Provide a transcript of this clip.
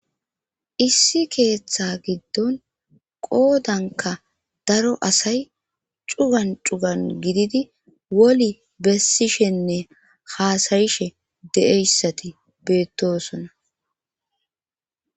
issi keeththa giddon qoodanka daro asay cugan cugan gididi woli bessishenne haasayishe de7eyssati beettosona